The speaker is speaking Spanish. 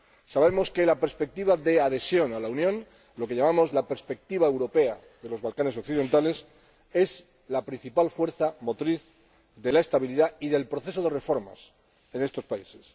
Sabemos que la perspectiva de la adhesión a la Unión —lo que llamamos la perspectiva europea de los Balcanes Occidentales— es la principal fuerza motriz de la estabilidad y del proceso de reformas en estos países.